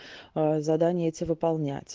задание эти выполнять